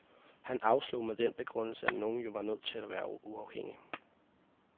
Han afslog med den begrundelse, at nogen jo var nødt til at være uafhængig.